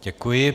Děkuji.